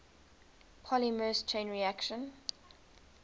polymerase chain reaction